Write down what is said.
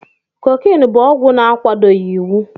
Cocaine bụ ọgwụ na-akwadoghị iwu.